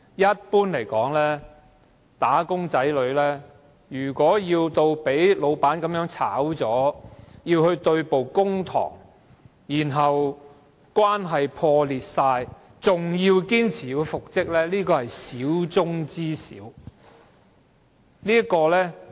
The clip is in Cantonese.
一般而言，"打工仔"被辭退後若與僱主對簿公堂，關係全面破裂，但仍堅持復職，這種情況可謂少之又少。